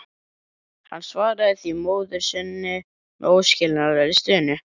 Hann svaraði því móður sinni með óskiljanlegri stunu.